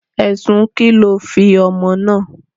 Ẹ̀sùn ki lọ fi ọmọ náà?